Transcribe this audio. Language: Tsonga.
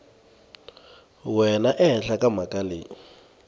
wena ehenhla ka mhaka leyi